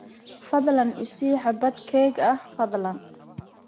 Fadlan i sii xabbad keeg ah, fadlan.